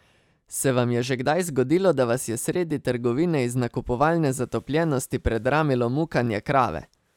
Se vam je že kdaj zgodilo, da vas je sredi trgovine iz nakupovalne zatopljenosti predramilo mukanje krave?